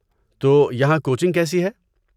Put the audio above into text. تو یہاں کوچنگ کیسی ہے؟